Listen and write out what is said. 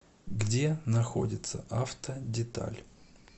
где находится автодеталь